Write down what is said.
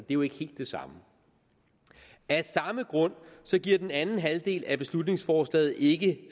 jo ikke helt det samme af samme grund giver den anden halvdel af beslutningsforslaget ikke